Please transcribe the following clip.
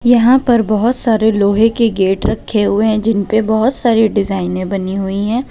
यहां पर बहुत सारे लोहे के गेट रखे हुए हैं जिनपे बहुत सारे डिजाइनें बनी हुई हैं।